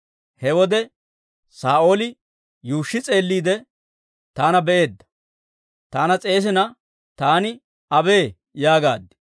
He wode Saa'ooli yuushshi s'eelliide taana be'eedda; taana s'eesina taani, ‹abee!› yaagaad.